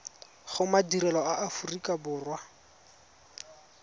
go madirelo a aforika borwa